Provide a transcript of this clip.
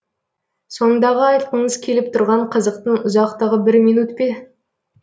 сондағы айтқыңыз келіп тұрған қызықтың ұзақтығы бір минут пе